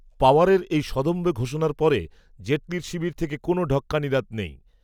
পওয়ারের এই সদম্ভ ঘোষণার পরে, জেটলির শিবির থেকে কোনও ঢক্কানিনাদ নেই